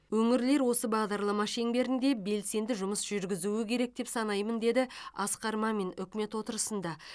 өңірлер осы бағдарлама шеңберінде белсенді жұмыс жүргізу керек деп санаймын деді асқар мамин үкімет отырысында